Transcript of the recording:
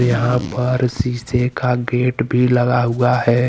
यहां पर शीशे का गेट भी लगा हुआ है।